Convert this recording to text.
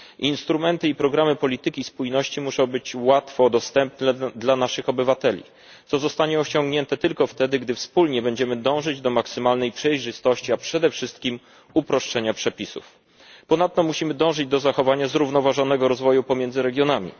Instrumenty i programy polityki spójności muszą być łatwo dostępne dla naszych obywateli, co zostanie osiągnięte tylko wtedy, gdy wspólnie będziemy dążyć do maksymalnej przejrzystości, a przede wszystkim uproszczenia przepisów. Ponadto musimy dążyć do zachowania zrównoważonego rozwoju pomiędzy regionami.